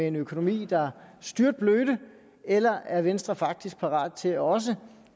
en økonomi der styrtblødte eller er venstre faktisk parat til også